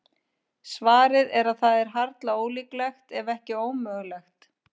Svarið er að það er harla ólíklegt, ef ekki ómögulegt.